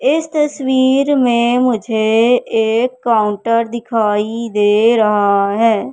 इस तस्वीर में मुझे एक काउंटर दिखाई दे रहा है।